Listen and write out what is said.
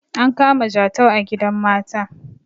an kama jatau a gidan mata